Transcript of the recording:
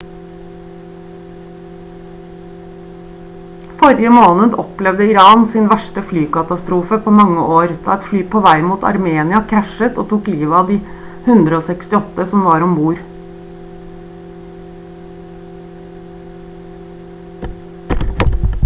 forrige måned opplevde iran sin verste flykatastrofe på mange år da et fly på vei mot armenia krasjet og tok livet av de 168 som var om bord